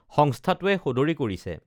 সংস্থাটোৱে সদৰী কৰিছে